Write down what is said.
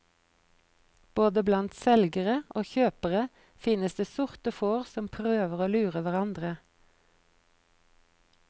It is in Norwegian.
Både blant selgere og kjøpere finnes det sorte får som prøver å lure hverandre.